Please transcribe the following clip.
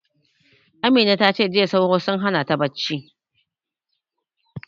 Amina ta ce jiya sauro sun hana ta bacci